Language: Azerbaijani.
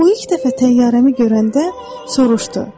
O ilk dəfə təyyarəmi görəndə soruşdu.